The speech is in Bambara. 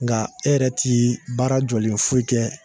Nka e yɛrɛ ti baara jɔlen foyi kɛ